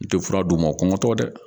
I tɛ fura d'u ma o kɔngɔtɔ tɛ dɛ